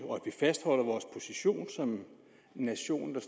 fastholder vores position som en nation der